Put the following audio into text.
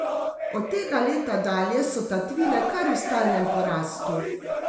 Od tega leta dalje so tatvine kar v stalnem porastu.